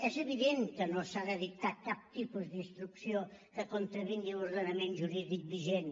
és evident que no s’ha de dictar cap tipus d’instrucció que contravingui l’ordenament jurídic vigent